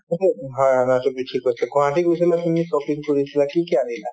গুৱাহাটী গৈছিলা তুমি shopping কৰিছিলা কি কি আনিলা ?